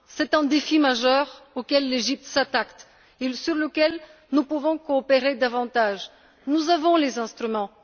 C'est un défi majeur auquel l'Égypte s'attaque, sur lequel nous pouvons coopérer davantage. Nous avons les instruments.